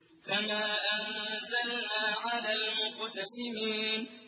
كَمَا أَنزَلْنَا عَلَى الْمُقْتَسِمِينَ